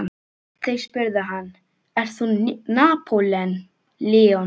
Þeir spurðu hann: ert þú Napóleon?